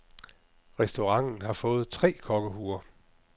Restauranten har fået tre kokkehuer.